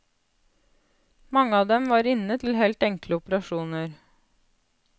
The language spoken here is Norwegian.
Mange av dem var inne til helt enkle operasjoner.